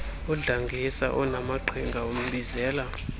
udlangisa onaamaqhinga umbizela